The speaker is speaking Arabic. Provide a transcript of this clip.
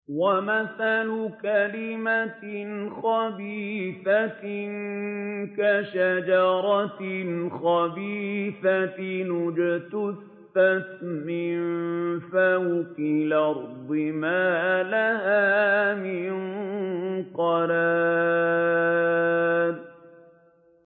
وَمَثَلُ كَلِمَةٍ خَبِيثَةٍ كَشَجَرَةٍ خَبِيثَةٍ اجْتُثَّتْ مِن فَوْقِ الْأَرْضِ مَا لَهَا مِن قَرَارٍ